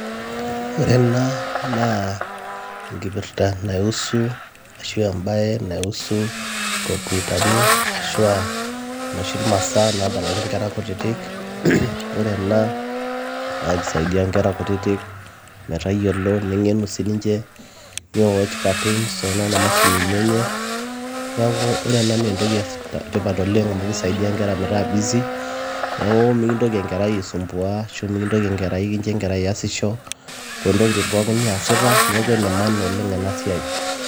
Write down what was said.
Ore ena naa enkipirta naihusu ashua embaye naihusu inkomputani ashua inoshi masaa naadalare inkera kutitik ore ena naa keisaidia inkera kutitik metayiolo neng'enu siininche ni watch cartoons toonana mashinini enye neeku ore ena naa entoki etipat oleng amu keisaidia inkera metaa busy neeku mikintoki enkerai aisumbua ashuu mikintoki enkerai amitiki iyasisho toontokitin pookin niyasita neeku enemaana oleng ena siai .